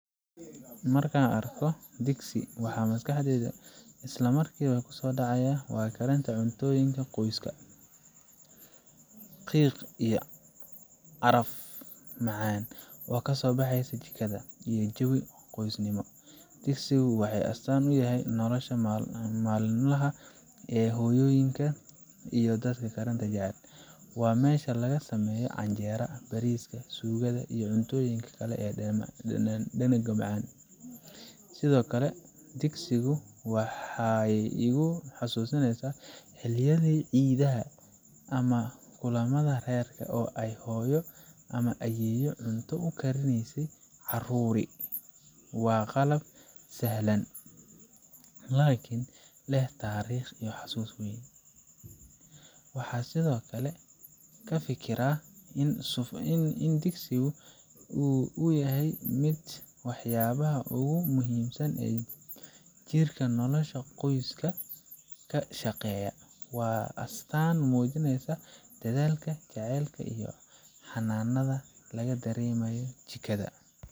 Marka aan arko digsiga waxa maskaxdayda isla markiiba ku soo dhacaya waa karinta cuntooyinka qoyska, qiiq iyo caraf macaan oo ka soo baxaya jikada, iyo jawi qoysnimo. digsiga waxay astaan u tahay nolosha maalinlaha ah ee hooyooyinka iyo dadka karinta jecel waa meesha laga sameeyo canjeelada, bariiska, suugada, iyo cuntooyin kale oo dhadhan leh. Sidoo kale digsiga waxay igu xasuusisaa xilliyada ciidaha ama kulamada reerka oo ay hooyo ama ayeeyo cunto u karinaysay carruur iyo marti. Waa qalab sahlan, laakiin leh taariikh iyo xusuus weyn. Waxaan sidoo kale ka fikiraa in sufuurtu ay ka mid tahay waxyaabaha ugu muhiimsan ee jirka nolosha qoyska ka shaqeeya waana astaan muujinaysa dadaalka, jacaylka iyo xannaanada laga dareemo jikada."